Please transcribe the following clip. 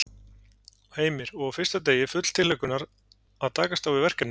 Heimir: Og á fyrsta degi, full tilhlökkunar að takast á við verkefnið?